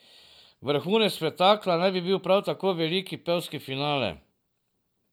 Vrhunec spektakla naj bi bil prav veliki pevski finale.